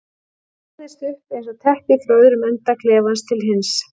Hún vafðist upp eins og teppi frá öðrum enda klefans til hins.